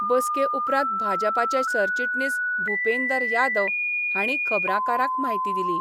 बसके उपरांत भाजपाचे सरचिटणीस भुपेंदर यादव हाणी खबराकारांक म्हायती दिली.